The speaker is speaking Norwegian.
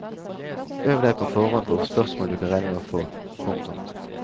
Øv deg på forhånd på spørsmål du kan regne med å få. punktum